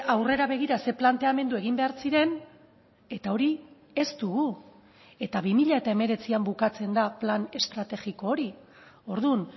aurrera begira zein planteamendu egin behar ziren eta hori ez dugu eta bi mila hemeretzian bukatzen da plan estrategiko hori orduan